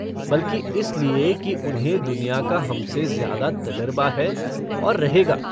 बल्कि इसलिए कि उन्हें दुनिया का हमसे ज्यादा तजरबा है और रहेगा।